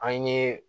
An ye